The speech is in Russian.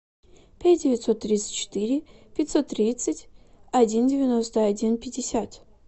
пять девятьсот тридцать четыре пятьсот тридцать один девяносто один пятьдесят